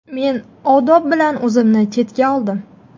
Men odob bilan o‘zimni chetga oldim.